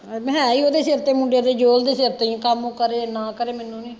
ਮੈਂ ਹੈ ਈ ਉਹਦੇ ਸਿਰ ਤੇ ਮੁੰਡੇ ਦੇ ਜੋਹਲ ਦੇ ਸਿਰ ਤੇ ਐ ਕੰਮ ਕਰੇ ਨਾ ਕਰੇ ਮੈਨੂੰ ਨੀ